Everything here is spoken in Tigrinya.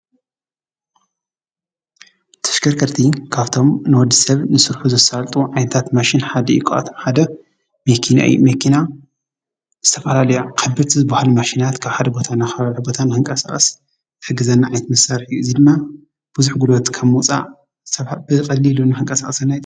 ተሽከርከርቲ ካብቶም ንወዲሰብ ንስርሑ ዘሳልጡ ዓይነታት መሽን ሓደ እዩ። ካብኣቶም ሓደ መኪና እዩ መኪና ዝተፋለለየ ዓበይቲ ዝባሃሉ መሽናት ካብ ሓደ ቦታ ናብ ሓደ ቦታ ንክንቀሳቀስ ዝሕግዘና ዓይነት መሳርሒ እዩ። እዙይ ድማ ቡዙሕ ጉልበት ካብ ምውፃእ ብቀሊሉ ንከንቀሳቅሰና ።